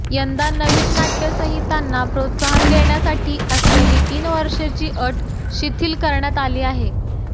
यंदा नवीन नाटय़ संहितांना प्रोत्साहन देण्यासाठी असलेली तीन वर्षाची अट शिथिल करण्यात आली आहे